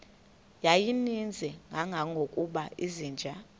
yayininzi kangangokuba izinja